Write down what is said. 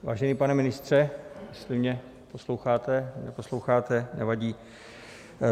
Vážený pane ministře, jestli mě posloucháte - neposloucháte, nevadí.